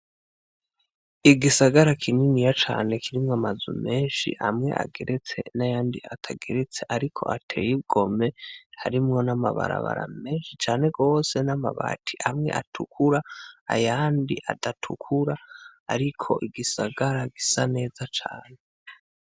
Igisagara kininiya cane kirimwo amazu menshi ageretse nayandi atagaretse, ariko atewe igomwe, harimwo nama barabara menshi cane gose n'amabati amwe atukura ayandi adatukura ariko igisagara gisa neza cane.